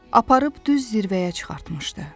Aparıb düz zirvəyə çıxartmışdı.